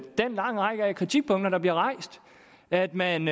den lange række kritikpunkter der bliver rejst at man